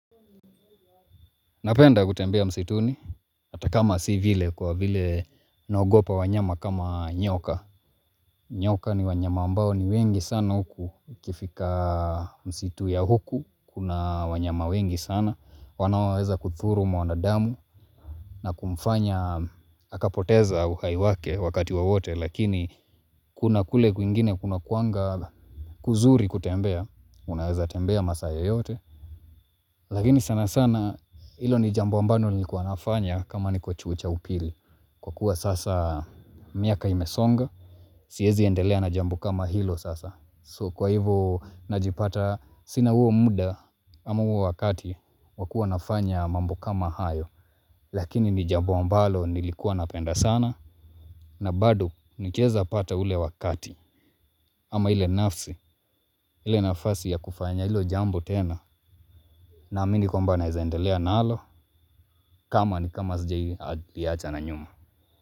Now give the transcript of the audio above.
Napenda kutembea msituni. Atakama si vile kwa vile. Naogopa wanyama kama nyoka. Nyoka ni wanyama ambao ni wengi sana huku ukifika msitu ya huku. Kuna wanyama wengi sana. Wanaoweza kuthuru mwanadamu. Na kumfanya akapoteza uhai wake wakati wowote. Lakini kuna kule kwingine kuna kuanga kuzuri kutembea. Unaweza tembea masaa yoyote. Lakini sana sana ilo ni jambo ambalo nilikuwa nafanya kama niko chuo cha upili kwa kuwa sasa miaka imesonga siwezi endelea na jambo kama hilo sasa so kwa hivo najipata sina huo muda ama huo wakati wakuwa nafanya mambo kama hayo lakini ni jambo ambalo nilikuwa napenda sana na bado nikiweza pata ule wakati ama ile nafsi ile nafasi ya kufanya hilo jambo tena na amini kwamba naweza endelea nalo kama ni kama hazijawahiadi pia achana nyuma.